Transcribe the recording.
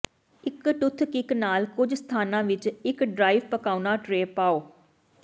ਇੱਕ ਟੁੱਥਕਿਕ ਨਾਲ ਕੁਝ ਸਥਾਨਾਂ ਵਿੱਚ ਇੱਕ ਡ੍ਰਾਈ ਪਕਾਉਣਾ ਟ੍ਰੇ ਪਾਓ